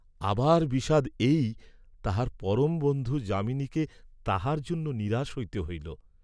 আবার বিষাদ এই, তাঁহার পরম বন্ধু যামিনীকে তাঁহার জন্য নিরাশ হইতে হইল।